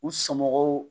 U somɔgɔw